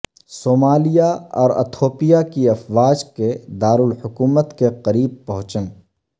Somalia اور Ethiopia کی افواج کے دار الحکومت کے قریب پہنچن